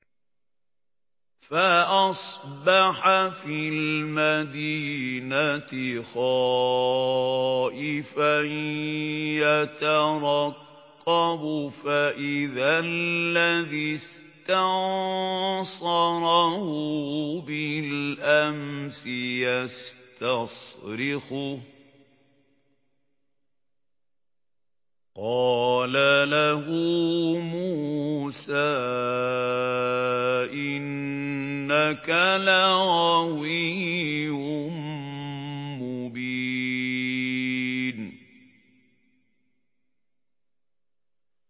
فَأَصْبَحَ فِي الْمَدِينَةِ خَائِفًا يَتَرَقَّبُ فَإِذَا الَّذِي اسْتَنصَرَهُ بِالْأَمْسِ يَسْتَصْرِخُهُ ۚ قَالَ لَهُ مُوسَىٰ إِنَّكَ لَغَوِيٌّ مُّبِينٌ